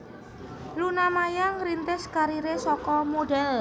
Luna Maya ngrintis kariré saka modhél